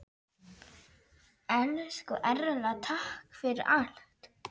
Elsku Erla, takk fyrir allt.